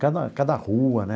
Cada cada rua, né?